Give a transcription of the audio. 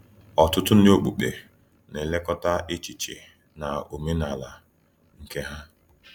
Ọtụtụ ndị okpukpe na -elekọta echiche na omenala nke ha.